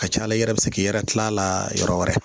Ka ca ala yɛrɛ bɛ se k'i yɛrɛ tila a la yɔrɔ wɛrɛ